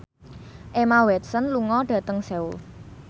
Emma Watson lunga dhateng Seoul